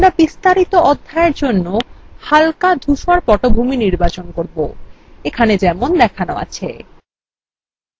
আমরা বিস্তারিত অধ্যায়we জন্য হাল্কা ধূসর পটভূমি নির্বাচন করব এখানে যেমন দেখানো আছে